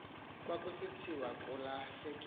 kwakusithiwa kula hleke